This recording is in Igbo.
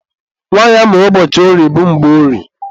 Nwanyị amụrụ ụbọchị orie bụ Mgborie.